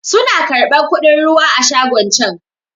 Su na karɓan kuɗin ruwa a shagon can